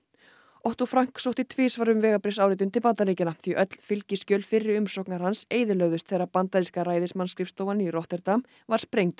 Otto sótti tvisvar um vegabréfsáritun til Bandaríkjanna því öll fylgiskjöl fyrri umsóknar hans eyðilögðust þegar bandaríska ræðismannsskrifstofan í Rotterdam var sprengd